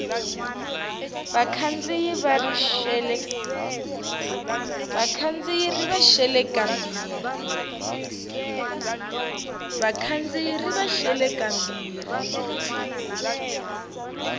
vakhandziyi ri va xele kambirhi